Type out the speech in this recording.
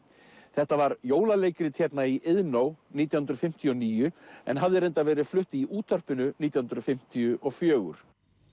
þetta var jólaleikrit hérna í Iðnó nítján hundruð fimmtíu og níu en hafði reyndar verið flutt í útvarpinu nítján hundruð fimmtíu og fjögur